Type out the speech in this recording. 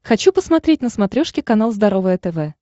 хочу посмотреть на смотрешке канал здоровое тв